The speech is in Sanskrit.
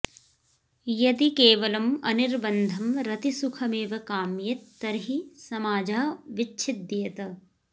यदि केवलम् अनिर्बन्धं रतिसुखमेव काम्येत् तर्हि समाजः विच्छिद्येत